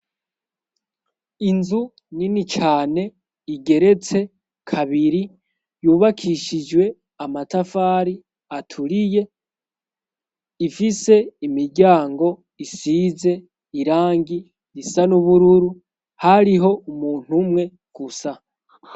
Inzu nini cane igeretse kabiri yubakishijwe amatafari aturiye, ifise imiryango isize irangi risa n'ubururu hariho umuntu umwe gusa.